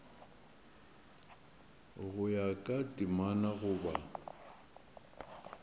go ya ka temana goba